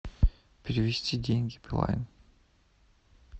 перевести деньги билайн